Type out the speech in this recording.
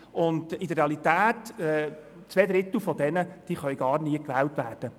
In der Realität können zwei Drittel von ihnen gar nie gewählt werden.